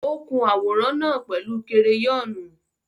Ó kun àwòrán náà pẹ̀lú kereyọ́nù.